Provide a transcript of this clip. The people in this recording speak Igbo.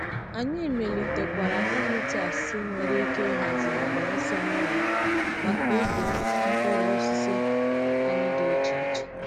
Anyị melitekwara emitters nwere ike ịhazigharị ọsọ mmiri maka ubi mkpụrụ osisi anyị dị iche iche.